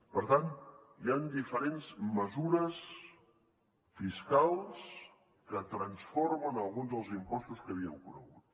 per tant hi han diferents mesures fiscals que transformen alguns dels impostos que havíem conegut